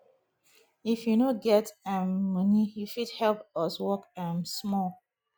if you no get um moni you fit help us work um small